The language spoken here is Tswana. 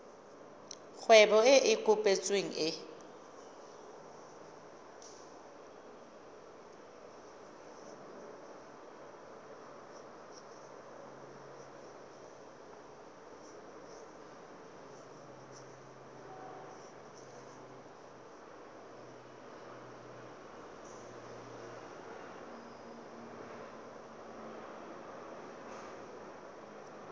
kgwebo e e kopetsweng e